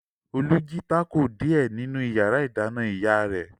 Olú jí tákò díẹ̀ nínú ìyàrá-ìdáná ìyá rẹ̀.